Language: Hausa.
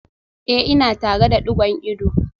Eh ina tare da digon ido